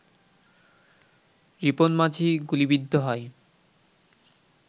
রিপন মাঝি গুলিবিদ্ধ হয়